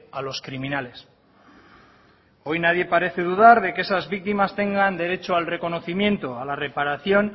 a los criminales hoy nadie parece dudar de que esas víctimas tengan derecho al reconocimiento a la reparación